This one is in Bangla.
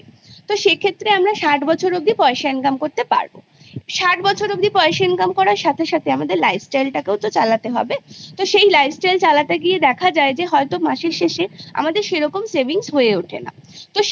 তো সেক্ষেত্রে আমরা ষাট বছর অবধি পয়সা income করতে পারবI ষাট বছর অবধি পয়সা Income করার সাথে সাথে তার সাথে আমাদের life style টাকেও তো চালাতে হবে তো সেই life style চালাতে গিয়ে দেখা গেল মাসের শেষে আমাদের সেরকম savings হয়ে ওঠে না I